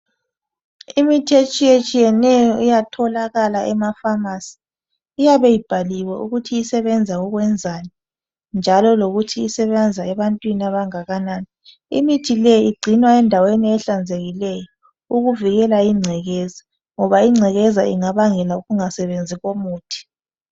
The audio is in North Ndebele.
Imithi etshiyetshiyeneyo iyatholakala emafamasi, iyabe ibhaliwe ukuthi isebenza ukwenzani njalo lokuthi isebenza ebantwini abangakanani. Imithi le igcinwa endaweni ehlanzekileyo ukuvikela ingcekeza ngoba ingcekeza ingabangela ukungasebenzi komuthi.